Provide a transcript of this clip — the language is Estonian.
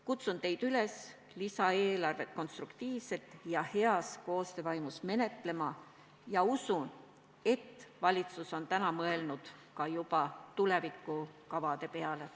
Kutsun teid üles lisaeelarvet konstruktiivselt ja heas koostöövaimus menetlema ning usun, et valitsus on juba mõelnud ka tulevikukavade peale.